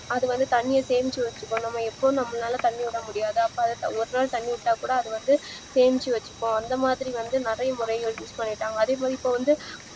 அதுவந்து தண்ணிய சேமிச்சு வச்சுக்கும் நம்ம இப்போ நம்மளால தண்ணி விட முடியாது அப்போல எப்போல தண்ணி விட்டாக்கூட அதுவந்து சேமிச்சு வச்சுக்கும் அந்தமாதிரி வந்து நறைய முறைகள் use பண்ணிருக்காங்க அதுமாறி இப்போவந்து